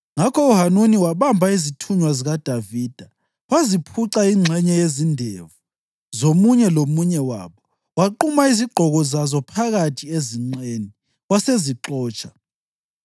Ngakho uHanuni wabamba izithunywa zikaDavida, waziphuca ingxenye yezindevu zomunye lomunye wabo, waquma izigqoko zazo phakathi ezinqeni, wasezixotsha.